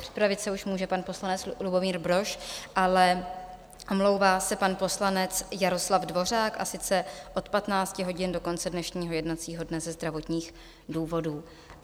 Připravit se už může pan poslanec Lubomír Brož, ale omlouvá se pan poslanec Jaroslav Dvořák, a sice od 15 hodin do konce dnešního jednacího dne ze zdravotních důvodů.